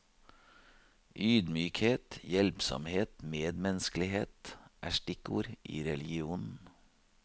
Ydmykhet, hjelpsomhet, medmenneskelighet er stikkord i religionen.